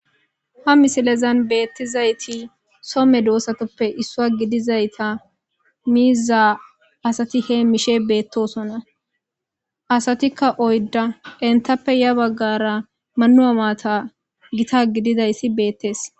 Ha misilezan beetizayti so medosatuppe issuwa gidizayta miiza asati heemishe beetosona asatikka oydda enttape ya baggara Manuwa maata gita gididayssi beettes.